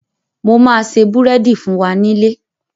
Mo ma se búrẹ́dì fún wa nílé